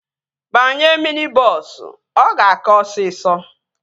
Banye mini bọọsu. Ọ ga-aka osisọ